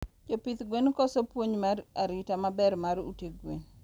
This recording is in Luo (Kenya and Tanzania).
Jopidh gwen koso puonj mar arita maber mar ute gwen